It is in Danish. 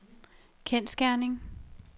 kendsgerning